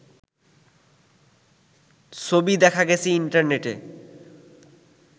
ছবি দেখা গেছে ইন্টারনেটে